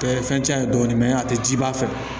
Bɛɛ ye fɛn cɛn ye dɔɔnin a tɛ ji ba fɛ